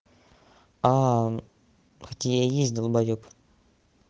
а хоть и я есть долбаёб